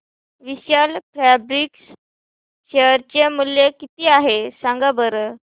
विशाल fabrics share चे मूल्य किती आहे सांगा बरं